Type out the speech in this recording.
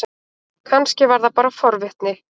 Kannski var það bara forvitni.